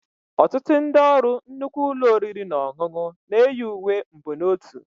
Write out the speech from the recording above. Ọtụtụ ndị ọrụ nnukwu ụlọ oriri na ọṅụṅụ na-eyi uwe mbonotu